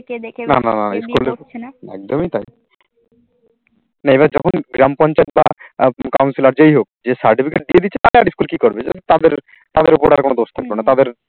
না না না, একদমই তাই না, এবার যখন গ্রাম পঞ্চায়েত বা counselor যেই হোক যে certificate দিয়ে দিয়েছে তালে আর স্কুল কি করবে? তাদের তাদের ওপর আর কোনো দোষ থাকবে না তাদের